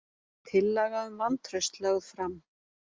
Tillaga um vantraust lögð fram